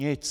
Nic!